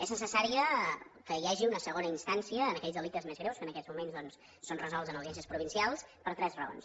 és necessari que hi hagi una segona instància en aquells delictes més greus que en aquests moments doncs són resolts en audiències provincials per tres raons